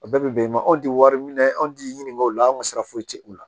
A bɛɛ bɛ bɛn anw tɛ wari minɛ anw tɛ ɲininkaliw la an sira foyi tɛ u la